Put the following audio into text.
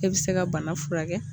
E bɛ se ka bana furakɛ